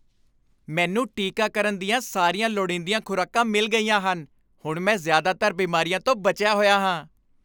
ਮੈਨੂੰ ਟੀਕਾਕਰਨ ਦੀਆਂ ਸਾਰੀਆਂ ਲੋੜੀਂਦੀਆਂ ਖ਼ੁਰਾਕਾਂ ਮਿਲ ਗਈਆਂ ਹਨ। ਹੁਣ ਮੈਂ ਜ਼ਿਆਦਾਤਰ ਬਿਮਾਰੀਆਂ ਤੋਂ ਬਚਿਆ ਹੋਇਆ ਹਾਂ।